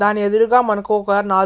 దాని ఎదురుగా మనకు ఒక నాల్ --